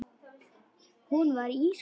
Hún var ísköld.